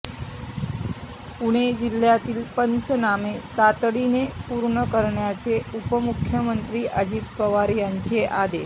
पुणे जिल्ह्यातील पंचनामे तातडीने पूर्ण करण्याचे उपमुख्यमंत्री अजित पवार यांचे आदेश